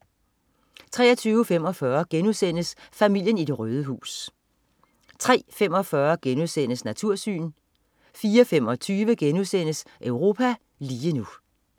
23.45 Familien i det røde hus* 03.45 Natursyn* 04.25 Europa lige nu*